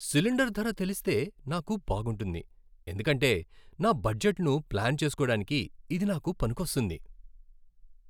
Cylinder ధర తెలిస్తే నాకు బాగుంటుంది ఎందుకంటే నా బడ్జెట్ను ప్లాన్ చేస్కోడానికి ఇది నాకు పనికొస్తుంది.